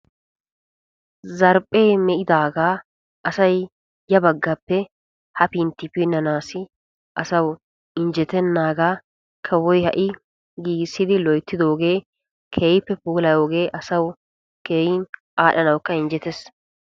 Zarphphe meqqidaaga asay yaanne haanne pinnanawu mettiyaaga kawoy giigisidooge ha'i asawu keehippe injjetees.